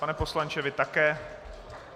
Pane poslanče, vy také?